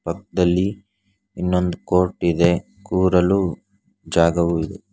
ಪಕ್ದಲ್ಲಿ ಇನ್ನೊಂದ್ ಕೋರ್ಟ್ ಇದೆ ಕೂರಲು ಜಾಗವೂ ಇದೆ.